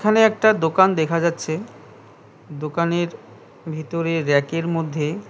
এখানে একটা দোকান দেখা যাচ্ছে দোকানের ভিতরে র‍্যাক এর মধ্যে --